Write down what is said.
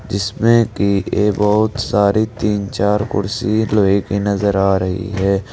जिसमें की ये बहुत सारी तीन चार कुर्सी लोहे की नजर आ रही है।